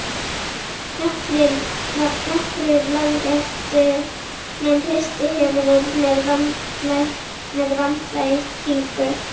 Nokkrir lögréttumenn hristu höfuðið með vandlætingu.